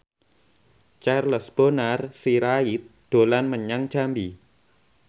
Charles Bonar Sirait dolan menyang Jambi